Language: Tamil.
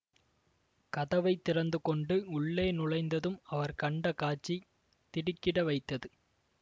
கதவை திறந்துகொண்டு உள்ளே நுழைந்ததும் அவர் கண்ட காட்சி திடுக்கிட வைத்தது